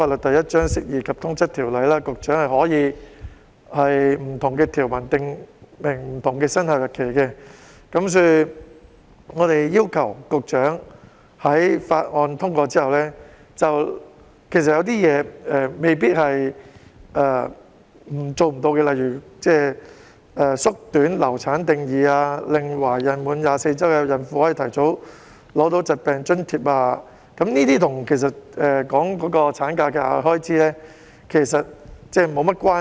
其實，根據《釋義及通則條例》，局長可以就不同條文訂明不同的生效日期，所以，我們要求局長在《條例草案》通過後，對於一些未必即時做不到的，例如縮短"流產"定義、令懷孕滿24周孕婦提早取得疾病津貼，其實跟產假的額外開支沒有太大關係。